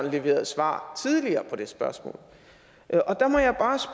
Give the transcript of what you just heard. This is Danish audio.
leverede et svar på det spørgsmål